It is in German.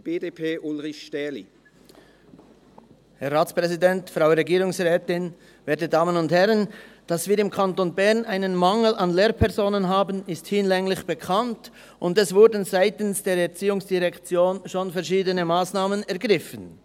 Dass wir im Kanton Bern einen Mangel an Lehrpersonen haben, ist hinlänglich bekannt, und seitens der ERZ wurden schon verschiedene Massnahmen ergriffen.